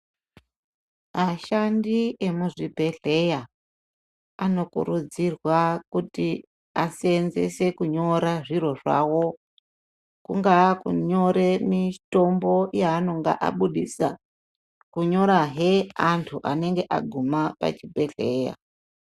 Ashandi emuzvibhedhleya anokurudzirwa kuti aseenzese kunyora zviro zvawo kungaa kunyore mitombo yaanenge abudisa kunyora he antu anenge aguma pachibhedhleya.